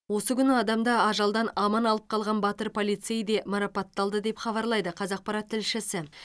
осы күні адамды ажалдан аман алып қалған батыр полцей де марапатталды деп хабарлайды қазақпарат тілшісі